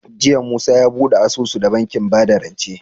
Jiya musa ya buɗe asusu da bankin bada rance